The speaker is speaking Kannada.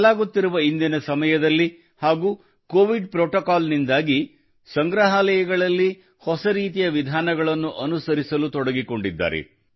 ಬದಲಾಗುತ್ತಿರುವ ಇಂದಿನ ಸಮಯದಲ್ಲಿ ಹಾಗೂ ಕೋವಿಡ್ ಪ್ರೋಟೋಕಾಲ್ ನಿಂದಾಗಿ ಸಂಗ್ರಹಾಲಯಗಳಲ್ಲಿ ಹೊಸ ರೀತಿಯ ವಿಧಾನಗಳನ್ನು ಅನುಸರಿಸುವಲ್ಲಿ ತೊಡಗಿಕೊಂಡಿದ್ದಾರೆ